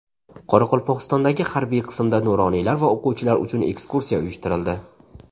Qoraqalpog‘istondagi harbiy qismda nuroniylar va o‘quvchilar uchun ekskursiya uyushtirildi .